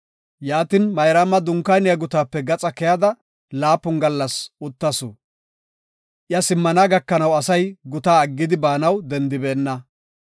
Yaatin, Mayraama dunkaaniya gutaape gaxa keyada laapun gallas uttasu. Iya simmana gakanaw asay gutaa aggidi baanaw dendibeenna.